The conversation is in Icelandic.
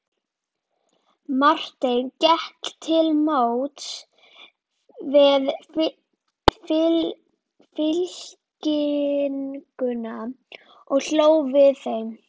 Marteinn gekk til móts við fylkinguna og hló við þeim.